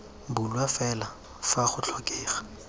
bulwa fela fa go tlhokega